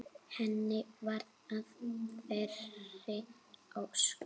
Henni varð að þeirri ósk.